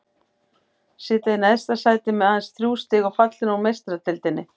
Sitja í neðsta sæti með aðeins þrjú stig og fallnir út úr Meistaradeildinni.